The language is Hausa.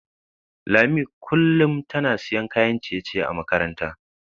Lami kullum tana siyan kayan ciye-ciye a makaranta.